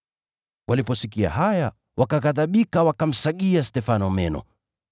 Waliposikia haya wakaghadhibika, wakamsagia meno.